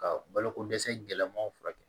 Ka baloko dɛsɛ gɛlɛmaw furakɛ